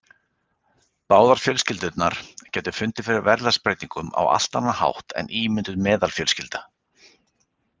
Báðar fjölskyldurnar gætu fundið fyrir verðlagsbreytingum á allt annan hátt en ímynduð meðalfjölskylda.